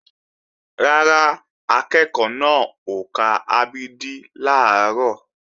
Rárá, akẹ́ẹ̀kọ́ náà ò ka a b d làárọ̀